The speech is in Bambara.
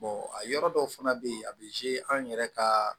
a yɔrɔ dɔw fana bɛ yen a bɛ an yɛrɛ ka